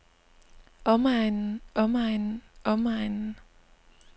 omegnen omegnen omegnen